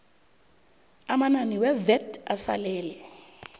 amanani wevat asalele